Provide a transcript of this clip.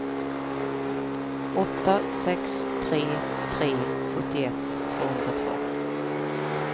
åtta sex tre tre sjuttioett tvåhundratvå